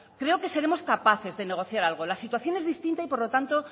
creo que seremos capaces de negociar algo la situación es distinta y por lo tanto